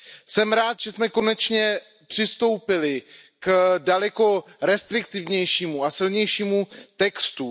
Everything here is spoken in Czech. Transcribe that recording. Jsem rád, že jsme konečně přistoupili k daleko restriktivnějšímu a silnějšímu textu.